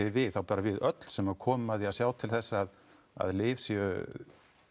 við þá bara við öll sem komum að því að sjá til þess að að lyf séu